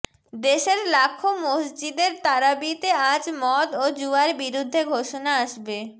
দেশের লাখো মসজিদের তারাবিতে আজ মদ ও জুয়ার বিরুদ্ধে ঘোষণা আসবে